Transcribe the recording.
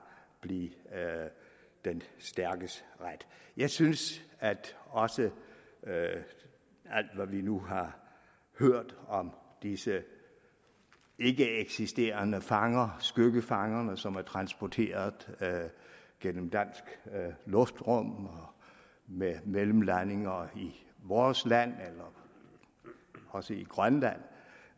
blive den stærkes ret jeg synes også at alt hvad vi nu har hørt om disse ikkeeksisterende fanger skyggefangerne som er transporteret gennem dansk luftrum med mellemlandinger i vores land også i grønland